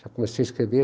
Já comecei a escrever.